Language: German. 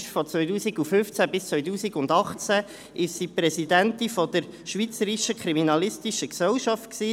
Von 2015 bis 2018 war sie Präsidentin der Schweizerischen Kriminalistischen Gesellschaft (SKG).